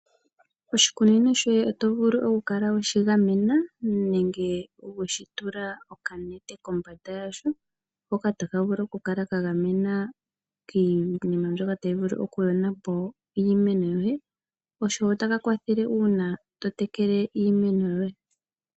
Oshikunino shoye otovulu okukala weshigamena nenge weshi tula okanete kombanda yasho hoka taka vulu okukala kagamena kiinima mbyoka tayi vulu okuyona po iimeno yoye, oshowo otaka kwathele uuna totekele iimeno yoye.